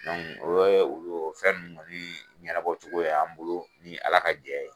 ye olu fɛn nunnu kɔni ɲɛnabɔ cogo ye y'an bolo, ni Ala ka jɛn ye